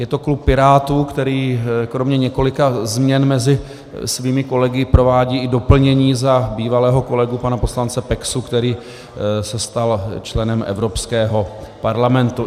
Je to klub Pirátů, který kromě několika změn mezi svými kolegy provádí i doplnění za bývalého kolegu pana poslance Peksu, který se stal členem Evropského parlamentu.